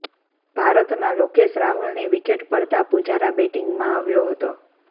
ભારતના લોકેશ રાહુલની વિકેટ પડતાં પુજારા બેટિંગમાં આવ્યો હતો